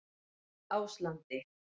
Áslandi